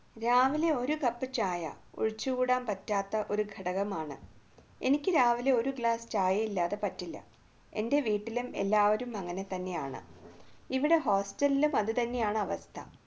രാവിലെ ഒരു cup ചായ ഒഴിച്ചുകൂടാൻ പറ്റാത്ത ഒരു ഘടകമാണ് എനിക്ക് രാവിലെ ഒരു glass ഇല്ലാതെ പറ്റില്ല എൻറെ വീട്ടിലും എല്ലാവരും അങ്ങനെ തന്നെയാണ് ഇവിടെ hostel ലും അതുതന്നെയാണ് അവസ്ഥ